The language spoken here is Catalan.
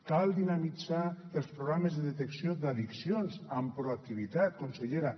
cal dinamitzar els programes de detecció d’addiccions amb proactivitat consellera